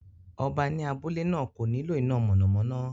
Ọba ní abúlé náà kò nílò iná mọ̀nàmọ́ná